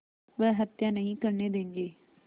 वह हत्या नहीं करने देंगे